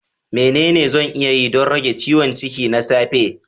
Menene zan iya yi don rage ciwon ciki na safe?